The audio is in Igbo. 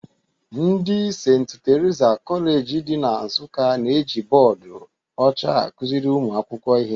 Ndị St. Teresa Kọleji dị na Nsụka na-eji bọọdụ ọcha akụziri ụmụ akwụkwọ ihe